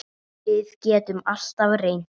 Við getum alltaf reynt.